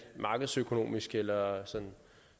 markedsøkonomisk eller